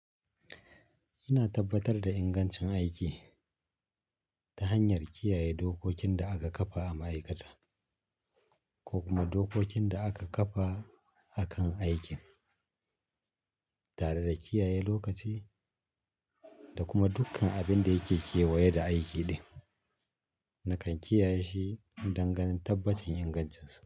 Ina tabbatar da ingancin aiki ta hanyar kiyaye dokokin da aka kafa a ma'aikata ko kuma dokokin da aka kafa akan aikin, tare da kiyaye lokaci da kuma dukkan abin da yake kewaye da aiki din. Nakan kiyaye shi dangani tabbacin ingancinsa.